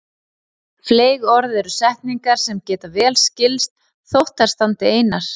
Fleyg orð eru setningar sem geta vel skilist þótt þær standi einar.